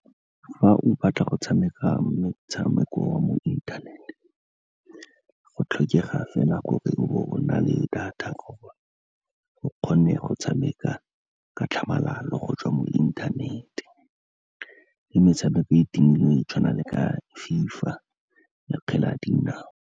Fa o batla go tshameka metshameko wa mo inthanete, go tlhokega fela gore o bo o na le data gore o kgone go tshameka ka tlhamalalo go tswa mo inthanete, le metshameko e timilweng go tshwana le ka FIFA le kgwele ya dinao.